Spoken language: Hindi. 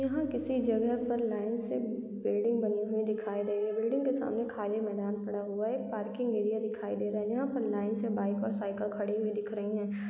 यह किसी जगह पर लाइन से बिल्डिंग बनी हुई दिखाई दे रही है | बिल्डिंग के सामने खाली मैदान पड़ा हुआ है| एक पार्किंग एरिया दिखाई दे रहा है| यहाँ पे लाइन से बाइक और साइकिल खड़ी हुई दिख रही है।